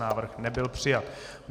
Návrh nebyl přijat.